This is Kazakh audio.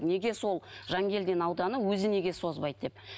неге сол жангелдин ауданы өзі неге созбайды деп